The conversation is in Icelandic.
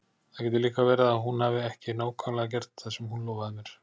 Það getur líka verið að hún hafi ekki nákvæmlega gert það sem hún lofaði mér.